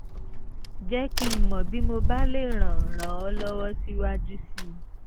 jẹ́ kí n mọ̀ bí mo bá lè ràn ràn ọ́ lọ́wọ́ síwájú sí i